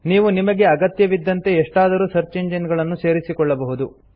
ನೀವು ನಿಮಗೆ ಅಗತ್ಯವಿದ್ದಂತೆ ಎಷ್ಟಾದರು ಸರ್ಚ್ ಇಂಜಿನ್ ಗಳನ್ನು ಸೇರಿಸಿಕೊಳ್ಳಬಹುದು